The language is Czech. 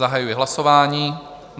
Zahajuji hlasování.